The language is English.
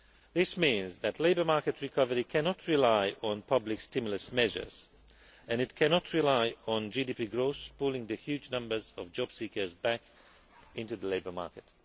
This means that labour market recovery cannot rely on public stimulus measures and it cannot rely on GDP growth pulling the huge numbers of jobseekers back into the labour market.